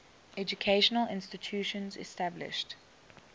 educational institutions established